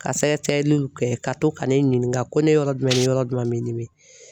Ka sɛgɛsɛgɛliw kɛ ka to ka ne ɲininka ko ne yɔrɔ jumɛn ni yɔrɔ jumɛn bɛ n dimi.